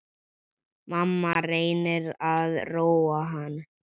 Mamma reynir að róa hann.